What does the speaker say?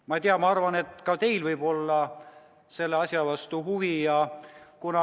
Ma ei tea, aga ma arvan, et ka teil võib olla selle asja vastu huvi.